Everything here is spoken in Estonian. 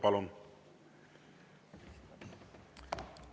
Palun!